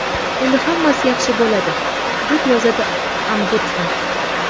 Endi hammasi yaxshi bo‘ladi”, deb yozadi Ombudsman.